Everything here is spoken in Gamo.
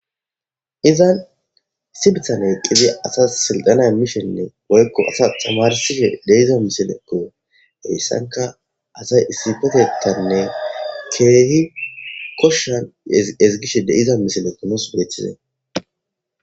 izan sibithan eqqidi asa sildana mishenne woykko asa tamarsishe deiza misilekko heyssanka asay issifetettanne keehi koshshan ezigishe deiza misile qinos beeththizee